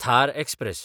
Thar express